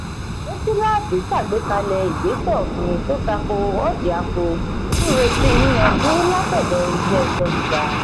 sefilaati ṣàgbékalẹ̀ igbesẹ òfin tó tako orjiako n retí yiyànjú latọdọ ilé ẹjọ gíga.